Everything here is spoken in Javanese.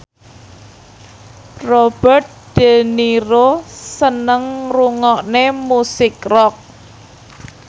Robert de Niro seneng ngrungokne musik rock